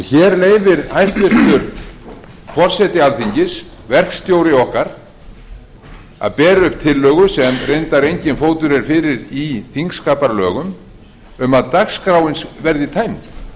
hér leyfir hæstvirtur forseti alþingis verkstjóri okkar sér að bera upp tillögu sem reyndar enginn fótur er fyrir í þingsköpum um að dagskráin verði tæmd